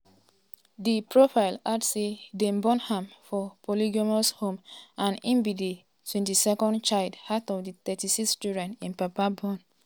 di profile add say dem born am for polygamous home and e be di 22nd child child out of di 36 children im papa born.